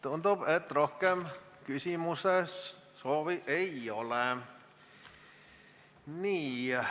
Tundub, et rohkem küsimuste soovi ei ole.